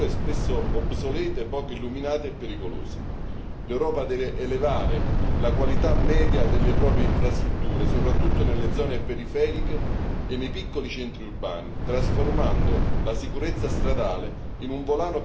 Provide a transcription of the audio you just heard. L'Europa deve elevare la qualità media delle proprie infrastrutture, soprattutto nelle zone periferiche e nei piccoli centri urbani, trasformando la sicurezza stradale in un volano per l'economia in una garanzia di sicurezza per tutti i cittadini europei.